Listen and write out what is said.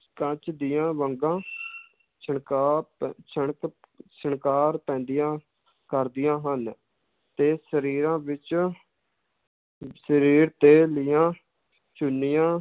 ਕੱਚ ਦੀਆਂ ਵੰਗਾਂ ਛਿਣਕਾ ਪ~ ਛਣਕ ਛਿਣਕਾਰ ਪੈਂਦੀਆਂ ਕਰਦੀਆਂ ਹਨ, ਤੇ ਸਰੀਰਾਂ ਵਿੱਚ ਸਰੀਰ ਤੇ ਲਈਆਂ ਚੁੰਨੀਆਂ